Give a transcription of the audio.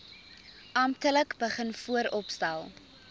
amptelik begin vooropstel